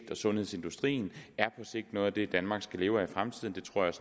sundhedsindustrien er noget af det danmark skal leve af i fremtiden det tror jeg